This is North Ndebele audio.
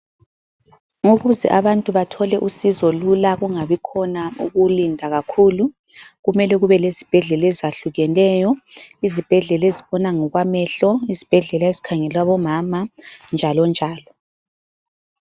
Ukuze abantu bathole usizo lula ,kungabikhona ukulinda kakhulu .Kumele kube lezibhedlela ezahlukeneyo , izibhedlela ezibona ngokwamehlo izibhedlela ezikhangele abomama njalo njalo.